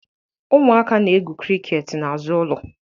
Ụmụaka na-egwu criket n'azụ ụlọ